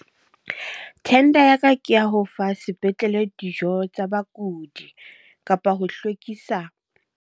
Tender ya ka ke ya ho fa sepetlele dijo tsa bakudi kapa ho hlwekisa.